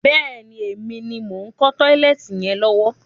Bẹ́ẹ̀ni, èmi ni mo ń kọ́ tọ́lẹ́ẹ́tì yẹn lọ́wọ́.